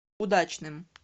удачным